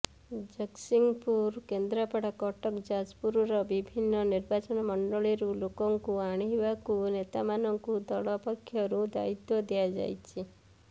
ଜଗତସିଂହପୁର କେନ୍ଦ୍ରାପଡ଼ା କଟକ ଯାଜପୁରର ବିଭିନ୍ନ ନିର୍ବାଚନ ମଣ୍ଡଳୀରୁ ଲୋକଙ୍କୁ ଆଣିବାକୁ ନେତାମାନଙ୍କୁ ଦଳ ପକ୍ଷରୁ ଦାୟିତ୍ୱ ଦିଆଯାଇଛି